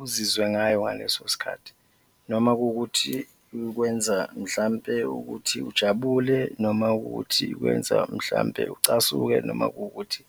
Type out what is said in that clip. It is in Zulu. uzizwe ngayo ngaleso sikhathi noma kuwukuthi ikwenza mhlawumbe ukuthi ujabule noma ukuthi ikwenza mhlawumbe ucasuke noma kuwukuthi